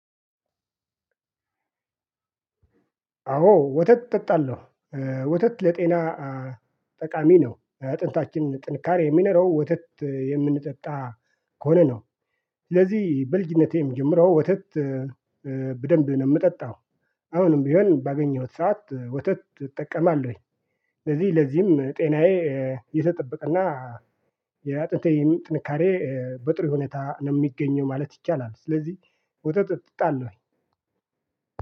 አዎ ወተት እጠጣለሁ። ወተት ለጤና ጠቃሚ ነው። አጥንታችን ጥንካሬ የሚኖረው ወተት የምንጠጣ ከሆነ ነው። ስለዚህ በልጅነቴም ጀምሮ ወተት በደንብ ነው የምጠጣው። አሁንም ቢሆን ባገኘሁት ሰዓት ወተት እጠቀማለሁኝ። ስለዚህ ለዚህም ጤናዬ የተጠበቀ እና የአጥንቴም ጥንካሬ በጥሩ ሁኔታ ነው የሚገኘው ማለት ይቻላል። ስለዚህ ውተት እጠጣለሁኝ።